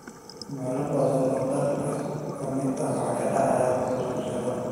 Meelo badan oo dalka ka mid ah waxaa ka dhacay rabshado.